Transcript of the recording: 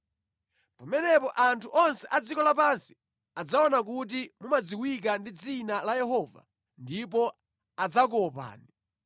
Pamenepo anthu onse a dziko lapansi adzaona kuti mumadziwika ndi dzina la Yehova ndipo adzakuopani.